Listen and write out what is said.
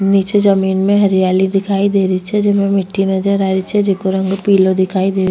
निचे जमीं में हरियाली दिखाई दे रही छे जेम मिटी नजर आ रही छे जेको रंग पिलो दिखाई दे --